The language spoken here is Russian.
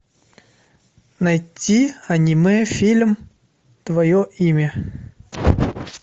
найти аниме фильм твое имя